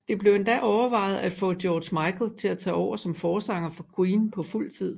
Det blev endda overvejet at få George Michael til at tage over som forsanger for Queen på fuldtid